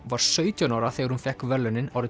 var sautján ára þegar hún fékk verðlaunin